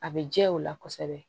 A bɛ jɛ u la kosɛbɛ